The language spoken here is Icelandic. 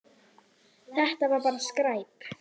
Þetta var bara skræpa.